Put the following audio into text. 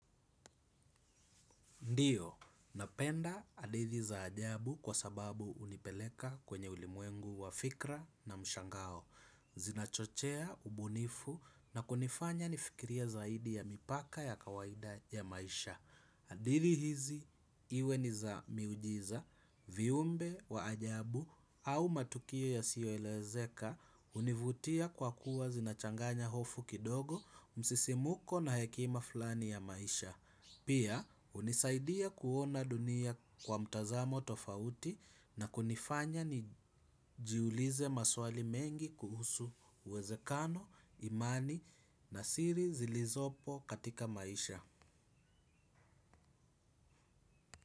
Ndio, napenda hadithi za ajabu kwa sababu unipeleka kwenye ulimwengu wa fikra na mshangao. Zinachochea, ubunifu na kunifanya nifkirie zaidi ya mipaka ya kawaida ya maisha. Adithi hizi, iwe ni za miujiza, viumbe wa ajabu au matukio yasiyo elezeka hunivutia kwa kuwa zinachanganya hofu kidogo, msisimuko na hekima flani ya maisha. Pia, hunisaidia kuona dunia kwa mtazamo tofauti na kunifanya nijiulize maswali mengi kuhusu uwezekano, imani na siri zilizopo katika maisha.